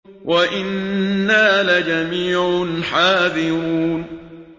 وَإِنَّا لَجَمِيعٌ حَاذِرُونَ